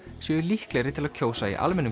séu líklegri til að kjósa í almennum